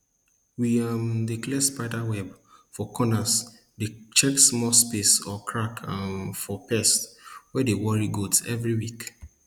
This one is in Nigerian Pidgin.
we um dey clear spider webs for corners dey check small spaces or cracks um for pests wey dey worry goats every week